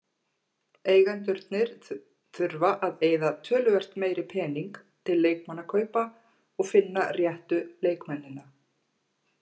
Eigendurnir þurfa að eyða töluvert meiri pening til leikmannakaupa og finna réttu leikmennina.